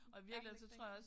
Langt væk dengang